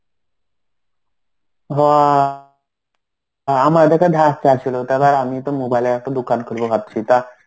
হ. আমার কাছে ধার চাচ্ছিল. তাহলে আর আমি তো mobile এর একটা দোকান খুলবো ভাবছি.